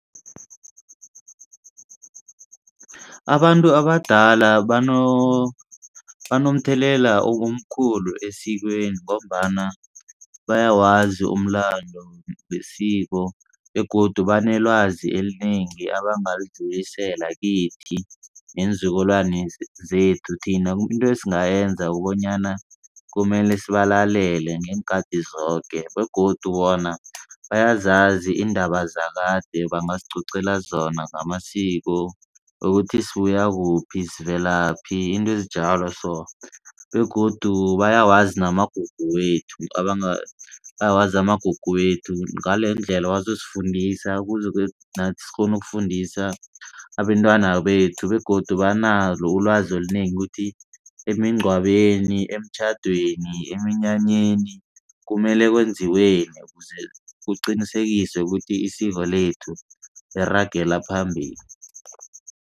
Abantu abadala banomthelela omkhulu esikweni ngombana bayawazi umlando wesiko begodu banelwazi elinengi abangalidlulisela kithi neenzukulwani zethu. Thina into esizayenza kobanyana kumele sibalalele ngeenkathi zoke begodu bona bayazazi iindaba zakade bangasicocela zona ngamasiko. Ukuthi sibuya kuphi sivelaphi into ezinjalo, so begodu bayawazi namagugu wethu bayawazi namagugu wethu. Ngalendlela bazosifundisa ukuze nathi sikghone ukufundisa abentwana bethu begodu banalo ulwazi elinengi ukuthi emingcwabeni, emtjhadweni, eminyanyeni kumele kwenziweni. Ukuze kuqinisekiswe ukuthi isiko lethu liragela phambili.